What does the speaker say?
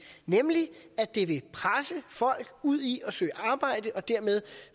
nemlig at det vil presse folk ud i at søge arbejde og dermed